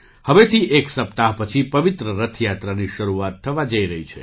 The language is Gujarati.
હવેથી એક સપ્તાહ પછી પવિત્ર રથ યાત્રાની શરૂઆત થવા જઈ રહી છે